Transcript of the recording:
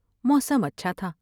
موسم اچھا تھا ۔